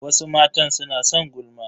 Wasu matan suna son gulma.